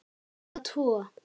Eða tvo!